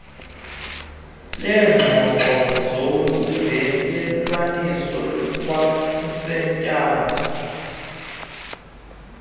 leengxoxo zolungelelwaniso kwamsinyane